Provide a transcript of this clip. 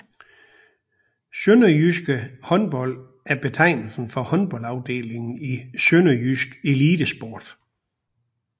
SønderjyskE Håndbold er betegnelsen for håndboldafdelingen i Sønderjysk Elitesport